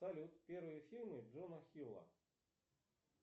салют первые фильмы джона хилла